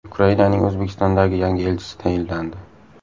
Ukrainaning O‘zbekistondagi yangi elchisi tayinlandi.